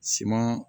Siman